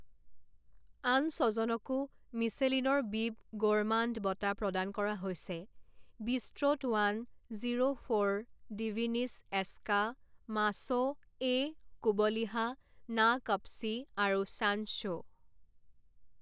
আন ছজনকো মিচেলিনৰ বিব গ'ৰমাণ্ড বঁটা প্ৰদান কৰা হৈছে বিষ্ট্ৰ'ট ওৱান জিৰ' ফৰ ডিভিনিছ এস্কা মাছ' এ কোবলিহা না কপচি আৰু ছানশ্বো।